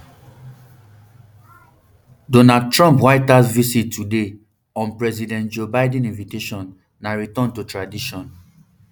donald trump white house visit today on president joe biden invitation na return to tradition